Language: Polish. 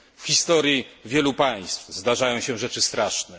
W historii wielu państw zdarzają się rzeczy straszne.